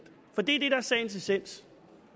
for det er det der er sagens essens